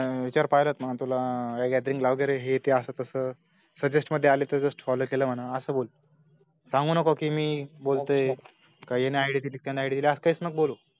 मी पाहिलंत ना तुला gathering ला वगेरेहे ते असं तास suggest मधे आला तर just follow केलं म्हणा असं बोल सांगू नको कि मी बोलतोय का याने ID दिली त्यांनी ID दिली असं कैच नको बोलू